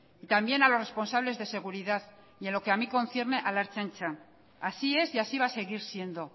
y también a los responsables de seguridad y en lo que a mi concierne a la ertzaintza así es y así va a seguir siendo